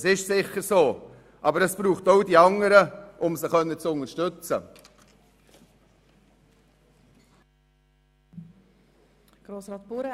Das ist sicher so, aber es braucht auch die anderen, um diese unterstützen zu können.